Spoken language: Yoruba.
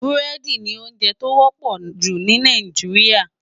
Búrèdi ni óonjè tó wòpò jú ni Náijiriá